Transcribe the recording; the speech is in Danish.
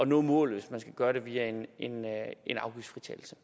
nå målet hvis man skal gøre det via en afgiftsfritagelse